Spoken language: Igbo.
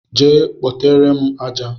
Gaa kpotere m aja!